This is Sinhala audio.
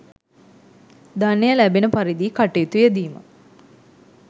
ධනය ලැබෙන පරිදි කටයුතු යෙදීම